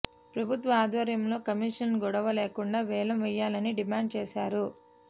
ప్రభుత్వ ఆధ్వర్యంలో కమిషన్ల గొడవ లేకుండా వేలం వేయాలని డిమాండ్ చేశారు